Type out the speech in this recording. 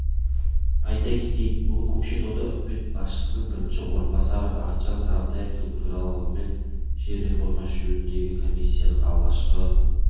айта кетейік бүгін көкшетауда үкімет басшысының бірінші орынбасары бақытжан сағынтаевтың төрағалығымен жер реформасы жөніндегі комиссияның алғашқы